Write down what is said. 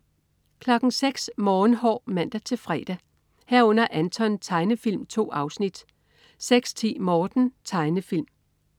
06.00 Morgenhår (man-fre) 06.00 Anton. Tegnefilm. 2 afsnit (man-fre) 06.10 Morten. Tegnefilm (man-fre)